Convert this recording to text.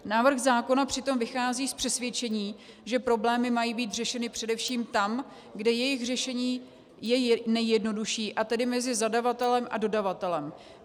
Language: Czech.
Návrh zákona přitom vychází z přesvědčení, že problémy mají být řešeny především tam, kde jejich řešení je nejjednodušší, a tedy mezi zadavatelem a dodavatelem.